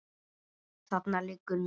Þarna liggur nú